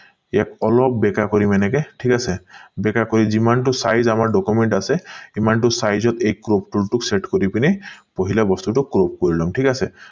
ইয়াক অলপ বেকা কৰিমে এনেকে ঠিক আছে বেকা কৰি যিমান টো size আমাৰ document আছে সিমান টো size ত এই crop tool টোক set কৰি পিনি পহিলা বস্তুটো crop কৰি লম ঠিক আছে